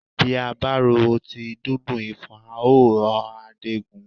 Bí a bá ro ti dídùn ifọ̀n á ó ọ'ra déegun